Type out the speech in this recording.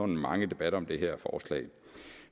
mange debatter om det her forslag